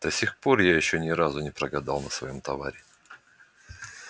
до сих пор я ещё ни разу не прогадал на своём товаре